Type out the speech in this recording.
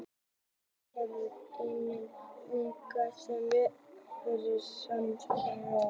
hún hefur einnig legið undir ámæli fyrir mannréttindabrot